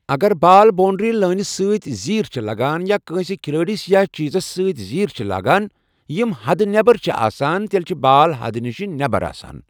اگر ball boundary لٲنہِ سۭتۍ زیٖر چھِ لَگان یا کٲنٛسہِ کھلٲڑِس یا چیزَس سۭتۍ زیٖر چھِ لاگان یِم حدٕ نٮ۪بر چھِ آسان تیٚلہِ چھِ بال حدٕ نِش نٮ۪بر آسان۔